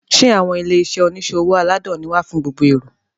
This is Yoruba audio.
Sẹ́ àwọn ilé-iṣẹ́ oníṣòwò aládàáni wà fún gbogbo èrò?